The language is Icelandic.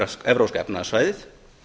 evrópska efnahagssvæðið